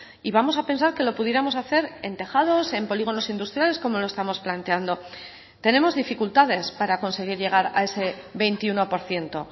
y vamos a pensar que lo pudiéramos hacer en tejados en polígonos industriales como lo estamos planteando tenemos dificultades para conseguir llegar a ese veintiuno por ciento